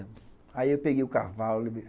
Aí eu peguei o cavalo.